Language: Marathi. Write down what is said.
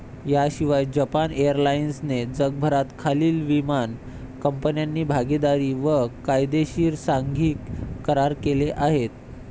याशिवाय जपान एअरलाईन्सने जगभरात खालील विमान कंपन्यांची भागीदारी, व कायदेशीर सांघिक करार केले आहेत.